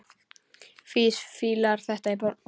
Fis fílar þetta í botn!